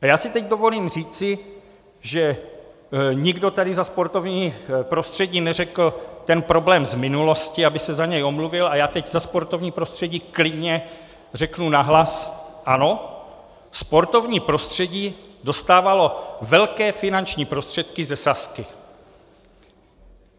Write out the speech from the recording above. A já si teď dovolím říci, že nikdo tady za sportovní prostředí neřekl ten problém z minulosti, aby se za něj omluvil, a já teď za sportovní prostředí klidně řeknu nahlas: Ano, sportovní prostředí dostávalo velké finanční prostředky ze Sazky.